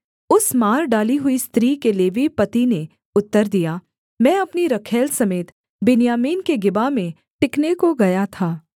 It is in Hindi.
उस मार डाली हुई स्त्री के लेवीय पति ने उत्तर दिया मैं अपनी रखैल समेत बिन्यामीन के गिबा में टिकने को गया था